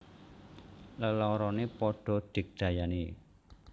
Leloroné padha digdayané